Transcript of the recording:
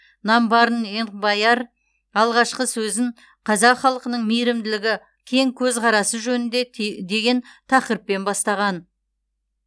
намбарын энбаяр алғашқы сөзін қазақ халқының мейірімділігі кең көзқарасы жөнінде деген тақырыппен бастаған